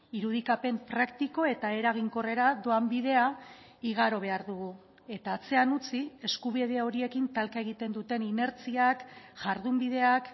irudikapen praktiko eta eraginkorrera doan bidea igaro behar dugu eta atzean utzi eskubide horiekin talka egiten duten inertziak jardunbideak